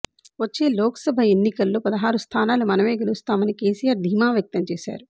వచ్చే లోకసభ ఎన్నికల్లో పదహారు స్థానాలు మనమే గెలుస్తామని కేసీఆర్ ధీమా వ్యక్తం చేశారు